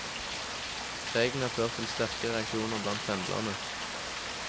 Reglene har ført til sterke reaksjoner blant pendlerne.